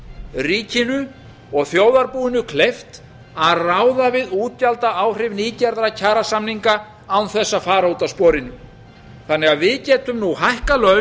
ríkinu og þjóðarbúinu kleift að ráða við útgjaldaáhrif nýgerðra kjarasamninga án þess að fara út af sporinu þannig að við getum nú hækkað